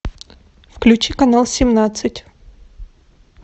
включи канал семнадцать